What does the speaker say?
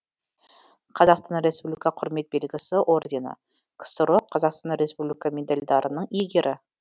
қазақстан республика құрмет белгісі ордені ксро қазақстан республика медальдарының иегері